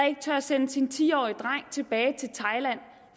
ikke tør sende sin ti årige dreng tilbage til thailand